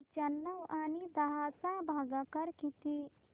पंचावन्न आणि दहा चा भागाकार किती